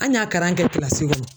An y'a karan kɛ kɔnɔ.